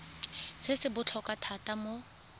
se se botlhokwa thata mo